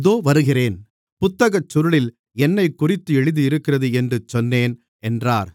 இதோ வருகிறேன் புத்தகச்சுருளில் என்னைக்குறித்து எழுதியிருக்கிறது என்று சொன்னேன் என்றார்